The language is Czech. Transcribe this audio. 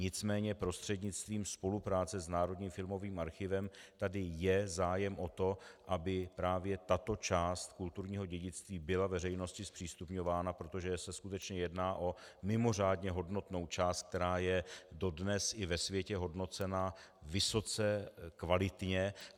Nicméně prostřednictvím spolupráce s Národním filmovým archivem tady je zájem o to, aby právě tato část kulturního dědictví byla veřejnosti zpřístupňována, protože se skutečně jedná o mimořádně hodnotnou část, která je dodnes i ve světě hodnocena vysoce kvalitně.